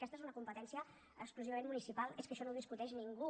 aquesta és una competència exclusivament municipal és que això no ho discuteix ningú